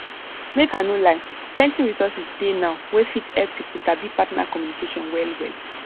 make i no lie plenty resources dey now wey fit help people sabi partner communication well well